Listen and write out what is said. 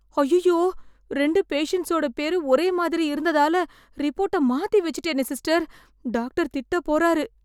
அய்யய்யோ... ரெண்டு பேஷண்ட்ஸோட பேரு ஒரே மாதிரி இருந்ததால ரிப்போர்ட்ட மாத்தி வெச்சுட்டேனே சிஸ்டர்... டாக்டர் திட்டப் போறாரு.